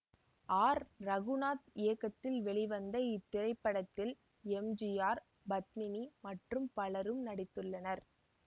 R Raghunath இயக்கத்தில் வெளிவந்த இத்திரைப்படத்தில் எம் ஜி ஆர் பத்மினி மற்றும் பலரும் நடித்துள்ளனர்